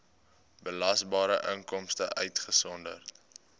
belasbare inkomste uitgesonderd